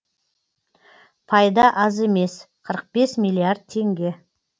пайда аз емес қырық бес миллиард теңге